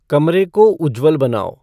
कमरे को उज्जवल बनाओ